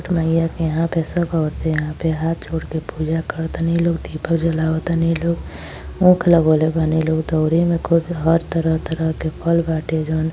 माइया के यहां पे सब औरते यहाँ पे हाँथ जोड़ के पूजा करत तलीन लोग। दीपक जलावतनी लोग। ऊख लगाउने बडिन लोग। दौरी मे हर तरह तरह के फल बाटे। जोवन --